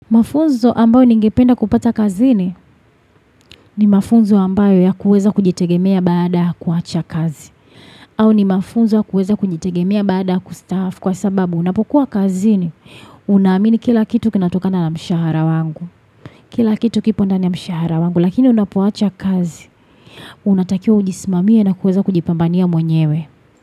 Mafunzo ambayo ningependa kupata kazini ni mafunzo ambayo yakuweza kujitegemea baada ya kuwacha kazi. Au ni mafunzo ya kueza kujitegemea baada kustaafu kwa sababu unapokuwa kazini. Unaamini kila kitu kinatokana na mshahara wangu. Kila kitu kipo ndani ya mshahara wangu lakini unapowacha kazi. Unatakiwa ujismamie na kuweza kujipambania mwenyewe.